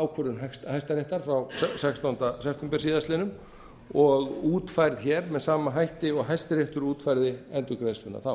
ákvörðun hæstaréttar frá sextánda september síðastliðnum og útfærð hér með sama hætti og hæstiréttur útfærði endurgreiðsluna þá